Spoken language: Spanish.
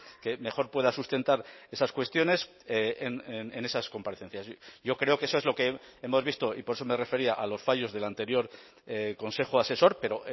que mejor pueda sustentar esas cuestiones en esas comparecencias yo creo que eso es lo que hemos visto y por eso me refería a los fallos del anterior consejo asesor pero